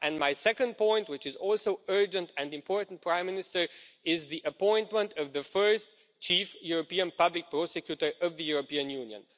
My second point, which is also urgent and important, Prime Minister, is the appointment of the first chief European Public Prosecutor of the European Union.